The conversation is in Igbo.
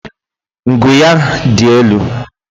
Ngu ya dị elu